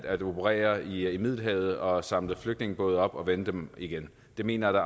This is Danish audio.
at operere i middelhavet og samle flygtningebåde op og vende dem igen det mener jeg